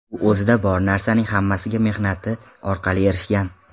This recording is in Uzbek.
U o‘zida bor narsaning hammasiga mehnati orqali erishgan.